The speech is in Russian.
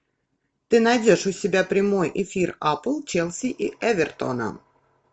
ты найдешь у себя прямой эфир апл челси и эвертона